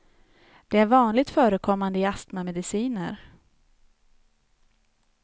Det är vanligt förekommande i astmamediciner.